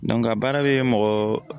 baara bɛ mɔgɔ